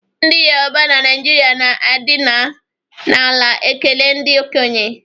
Ndị Yoroba na Naịjirịa na-adịna n'ala ekele ndị okenye